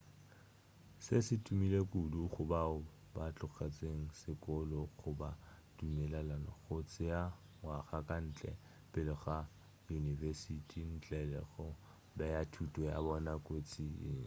se se tumile kudu go bao ba tlogetšego sekolo go ba dumelela go tšea ngwaga ka ntle pele ga yunibesiti ntle le go bea thuto ya bona kotsing